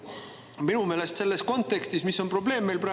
Mis on minu meelest selles kontekstis praegu meie probleem?